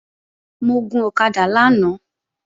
Mo gun ọ̀kadà lánàá